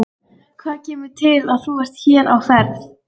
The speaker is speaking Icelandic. Hvað kemur til að þú ert hér á ferð?